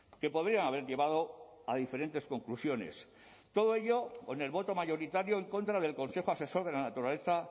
que podrían haber llevado a diferentes conclusiones todo ello con el voto mayoritario en contra del consejo asesor de la naturaleza